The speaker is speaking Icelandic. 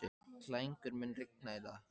Klængur, mun rigna í dag?